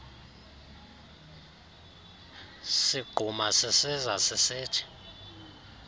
sigquma sisiza sisithi